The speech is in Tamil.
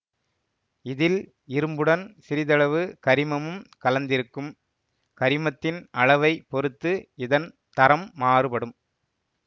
இதில் இரும்புடன் சிறிதளவு கரிமமும் கலந்திருக்கும் கரிமத்தின் அளவை பொறுத்து இதன் தரம் மாறுபடும்